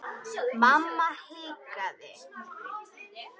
Mamma hikaði.